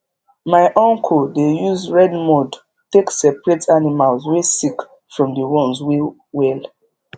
my uncle dey use red mud take seperate animals wey sick from the ones wey well